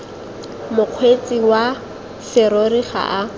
mokgweetsi wa serori ga a